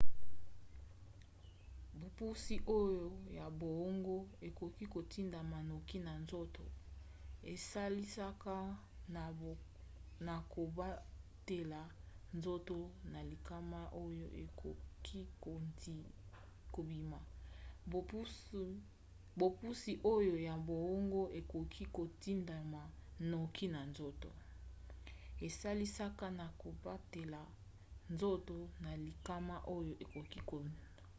bopusi oyo ya boongo ekoki kotindama noki na nzoto esalisaka na kobatela nzoto na likama oyo ekoki kobima